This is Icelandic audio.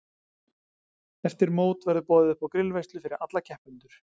Eftir mót verður boðið uppá grillveislu fyrir alla keppendur.